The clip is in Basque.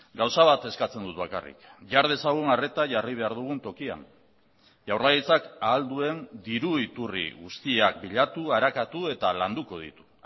gauza bat eskatzen dut bakarrik jar dezagun arreta jarri behar dugun tokian jaurlaritzak ahal duen diru iturri guztiak bilatu arakatu eta landuko ditu